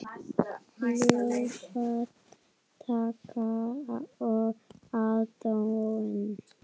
Lófatak og aðdáun.